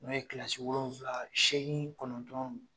N'o ye kilasi wolonvila seegin kɔnɔntɔn